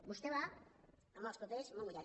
vostè va amb els papers molt mullats